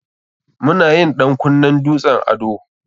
Mu na yin ɗan kunnen dutsen ado.